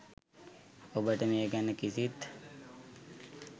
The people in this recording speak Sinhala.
ඔබට මේ ගැන කිසිත්